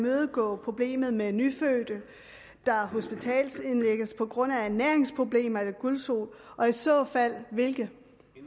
imødegå problemet med nyfødte der hospitalsindlægges på grund af ernæringsproblemer eller gulsot og i så fald hvilke